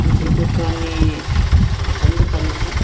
jiku kani akombo kani kha po.